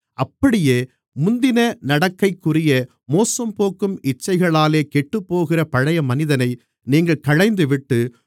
அப்படியே முந்தின நடக்கைக்குரிய மோசம்போக்கும் இச்சைகளாலே கெட்டுப்போகிற பழைய மனிதனை நீங்கள் களைந்துவிட்டு